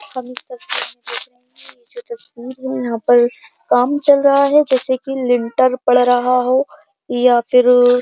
है यहा पर काम चल रहा है जैसे कि लिंटर पड़ रहा हो या फिर --